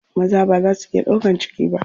Maza baza su iya ɗaukan ciki ba.